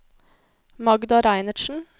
Magda Reinertsen